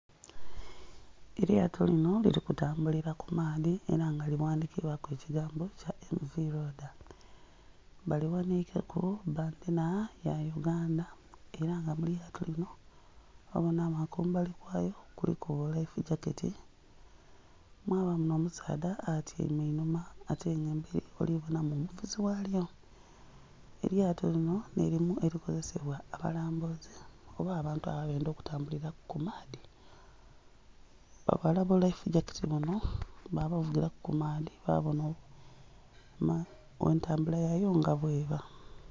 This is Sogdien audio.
Elyato linho liri kutambulira kumaadhi era nga lighandhikibwaku ekigambo kya "EMV LOADER" bali waniikeku bbendhera ya Uganda era nga elyato lino obona nga kumbali kwalyo kuliku bulaifu gyaketi., ndhibona omusaadha atyaime enhuma ate nga eberi ndhibonamu omuvuzi walyo. Elyato linho nirino erikozesebwa abalambuzi oba abantu abedha okutambuliraku kumaadhi, bavala bulaifu gyaketi buno babavugiraku kumaadhi babona entambula yayo nga bweba.